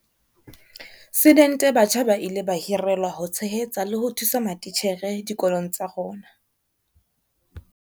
Sidente batjha ba ile ba hirelwa ho tshehetsa le ho thusa matitjhere dikolong tsa rona.